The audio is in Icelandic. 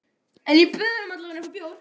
En ég bauð honum alla vega upp á bjór.